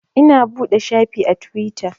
Ina buɗe shafi a Tiwita